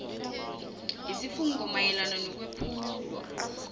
yesifungo mayelana nokwephulwa